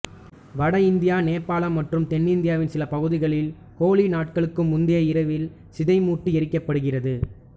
வட இந்தியா நேபாளம் மற்றும் தென்னிந்தியாவின் சில பகுதிகளில் ஹோலி நாளுக்கு முந்தைய இரவில் சிதைமூட்டி எரிக்கப்படுகிறது